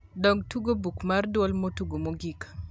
dog tugo buk mar duol motug mogik